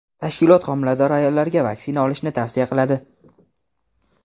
tashkilot homilador ayollarga vaksina olishni tavsiya qiladi.